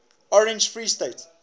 orange free state